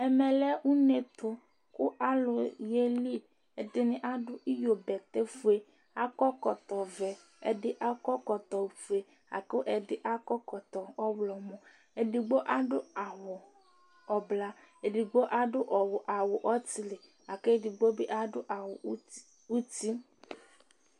ɛmɛ lɛ une ɛto kò alo ye li ɛdini adu iyo bɛtɛ fue akɔ ɛkɔtɔ vɛ ɛdi akɔ ɛkɔtɔ fue la kò ɛdi akɔ ɛkɔtɔ ɔwlɔmɔ edigbo adu awu ublɔ edigbo adu awu ɔtili la kò edigbo bi adu awu uti